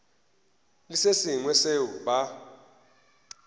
le se sengwe seo ba